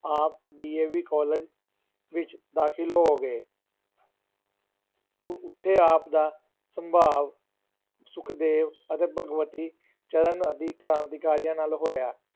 ਆਪ DAV college ਵਿਚ ਦਾਖਲ ਹੋ ਗਏ ਉਹ ਉੱਥੇ ਆਪ ਦਾ ਸੰਭਾਵ ਸੁਖਦੇਵ ਅਤੇ ਭਗਵਤੀ ਚਰਨ ਆਦਿ ਕ੍ਰਾਂਤੀਕਾਰੀਆਂ ਨਾਲ ਹੋਇਆ।